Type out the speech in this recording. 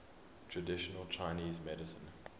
traditional chinese medicine